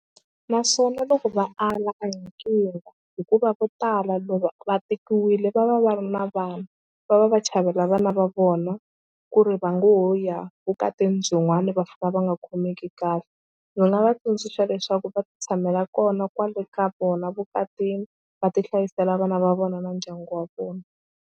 Naswona loko va ala a hi nkingha hikuva vo tala loko va tekiwile va va va ri na vana va va va chavela vana va vona ku ri va ngo ya vukati byin'wani va fika va nga khomeki kahle. Ndzi nga va tsundzuxa leswaku va titshamela kona kwale ka vona vukatini va tihlayisela vana va vona na ndyangu wa vona.